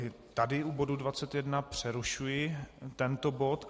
I tady u bodu 21 přerušuji tento bod.